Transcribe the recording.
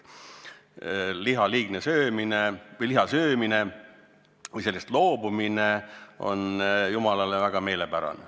Liha söömisest loobumine on Jumalale väga meelepärane.